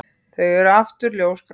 Þau eru aftur ljósgrá.